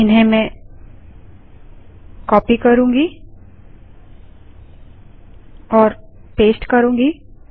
जिन्हें मैं कॉपी और पेस्ट करूँगी